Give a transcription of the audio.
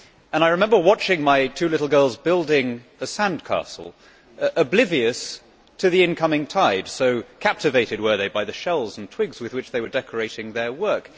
I remember watching my two little girls building a sand castle, oblivious to the incoming tide, so captivated were they with the shells and twigs with which they were decorating their work.